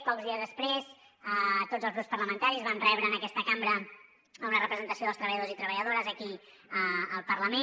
pocs dies després tots els grups parlamentaris vam rebre en aquesta cambra una representació dels treballadors i treballadores aquí al parlament